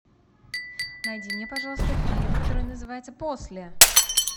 найди мне пожалуйста фильм который называется после